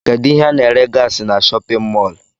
Kedụ ihe ana ere gasị n'shóppin mol?